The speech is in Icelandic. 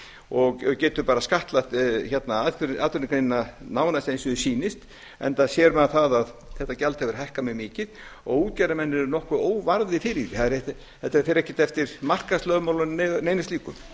og getur bara skattlagt atvinnugreinina nánast eins og því sýnist enda sér maður það að þetta gjald hefur hækkað mjög mikið og útgerðarmenn eru nokkuð óvarðir fyrir því þetta fer ekki eftir markaðslögmálum né neinu slíku